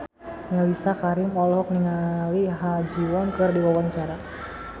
Mellisa Karim olohok ningali Ha Ji Won keur diwawancara